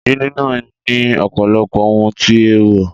Ìdílé náà ní ọ̀pọ̀lọpọ̀ ohun tí eewo